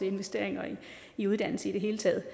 investeringer i uddannelse i det hele taget